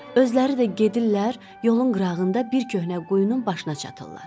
Özləri də gedirlər, yolun qırağında bir köhnə quyunun başına çatırlar.